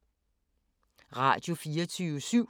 Radio24syv